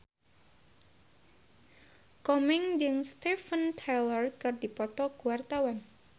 Komeng jeung Steven Tyler keur dipoto ku wartawan